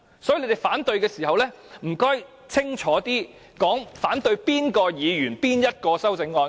所以，你們反對的時候，請清楚指出是反對哪位議員提出的哪項修正案。